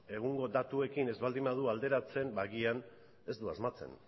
egungo datuekin ez baldin badu alderatzen ba agian ez du asmatzen